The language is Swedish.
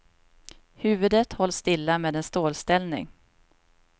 Huvudet hålls stilla med en stålställning.